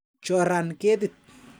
Choran ketit.